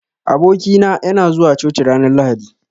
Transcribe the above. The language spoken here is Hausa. Aboki na, yana zuwa coci ranar lahadi.